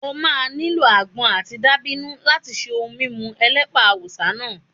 O máa nílò àgbọn àti dàbínù láti ṣe ohun mímu elépà Awúsá náà.